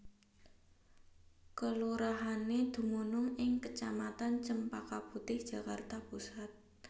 Kelurahané dumunung ing kecamatan Cempaka Putih Jakarta Pusat